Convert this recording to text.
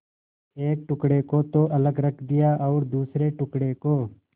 एक टुकड़े को तो अलग रख दिया और दूसरे टुकड़े को